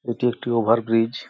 এটি একটি over bridge ।.